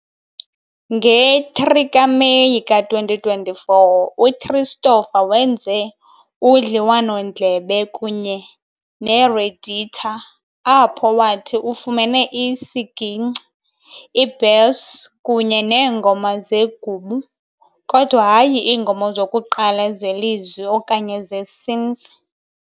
Nge-3 kaMeyi ka-2024, UChristopher wenze udliwanondlebe kunye neRedditor, apho wathi ufumene isiginkci, i-bass kunye neengoma zegubu, kodwa hayi iingoma zokuqala zelizwi okanye ze-synth.